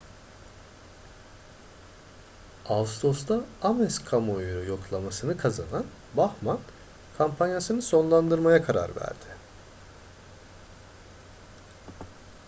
ağustos'ta ames kamuoyu yoklaması'nı kazanan bachmann kampanyasını sonlandırmaya karar verdi